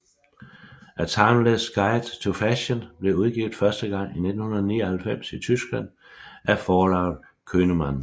A Timeless Guide to Fashion blev udgivet første gang i 1999 i Tyskland af forlaget Könemann